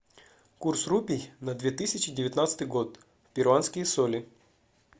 курс рупий на две тысячи девятнадцатый год перуанские соли